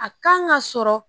A kan ka sɔrɔ.